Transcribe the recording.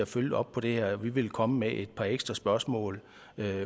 følge op på det her og vi vil komme med et par ekstra spørgsmål